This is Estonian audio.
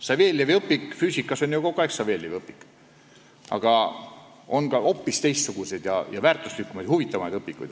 Saveljevi füüsikaõpik on kogu aeg Saveljevi õpik, aga on olemas hoopis teistsuguseid, väärtuslikumaid ja huvitavamaid õpikuid.